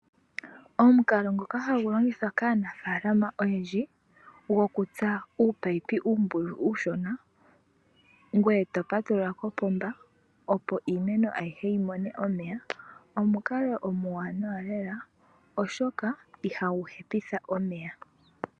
Omukalo ngoka hagulongithwa kaanafaalama oyendji, gokutsaa uupayipi uumbululu uushona ngweye topatulula kopomba opo iimeno ayihe yimone omeya. Omukalo omuwaanawa lela oshoka ihaguhepitha omeya.